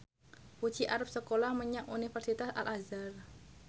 Puji arep sekolah menyang Universitas Al Azhar